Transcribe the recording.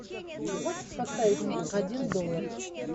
можешь поставить фильм один доллар